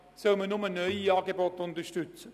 Sollen nur neue Angebote unterstützt werden?